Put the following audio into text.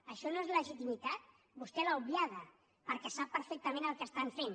això no és legitimitat vostè l’ha obviada perquè sap perfectament el que fan